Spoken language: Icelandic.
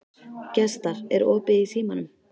Gestar, er opið í Símanum?